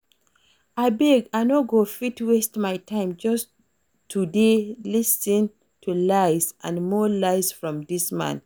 Abeg I no go fit waste my time just to dey lis ten to lies and more lies from dis man